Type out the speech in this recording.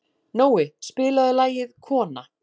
Nói, spilaðu lagið „Kona“.